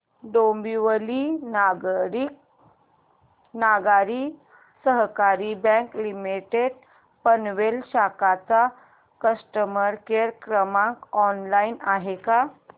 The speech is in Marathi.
डोंबिवली नागरी सहकारी बँक लिमिटेड पनवेल शाखा चा कस्टमर केअर क्रमांक ऑनलाइन आहे का